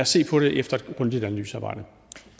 se på det efter et grundigt analysearbejde